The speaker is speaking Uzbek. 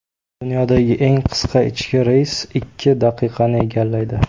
Dunyodagi eng qisqa ichki reys ikki daqiqani egallaydi.